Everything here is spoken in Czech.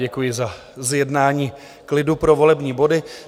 Děkuji za zjednání klidu pro volební body.